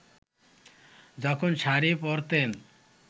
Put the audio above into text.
যখন শাড়ি পরতেন